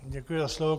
Děkuji za slovo.